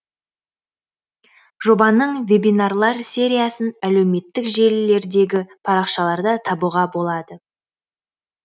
жобаның вебинарлар сериясын әлеуметтік желілердегі парақшаларда табуға болады